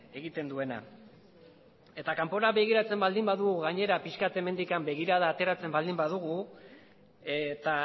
egiten duena eta kanpora begiratzen baldin badugu pixka bat hemendik begirada ateratzen baldin badugu eta